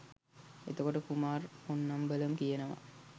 එතකොට කුමාර් පොන්නම්බලම් කියනවා